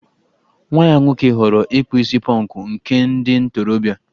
Nwa ya nwoke ghọọrọ ịkpụ isi pọnkụ, nke ndị ntorobịa